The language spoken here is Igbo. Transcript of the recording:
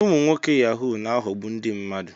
Ụmụ nwoke Yahu na-aghọgbu ndị mmadụ.